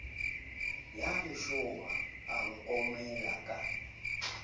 ya leshoma o nkomela ka